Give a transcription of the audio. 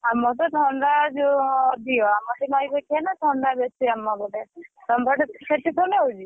ଆମର ତ ଥଣ୍ଡା ଯୋଉ ଅଧିକ ଆମର ଟିକେ ନଇ ପଖିଆ ନା ଥଣ୍ଡା ବେଶୀ ଆମ ପଟେ ସେଠି ଥଣ୍ଡା ହଉଛି?